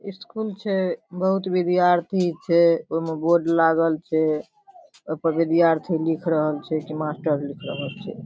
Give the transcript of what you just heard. School छै बहुत विद्यार्थी छै ओय मे बोर्ड लागल छै ओय पर विद्यार्थी लिख रहल छै की मास्टर लिख रहल छै।